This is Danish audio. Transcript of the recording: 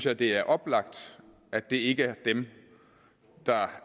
at det er oplagt at det ikke er dem der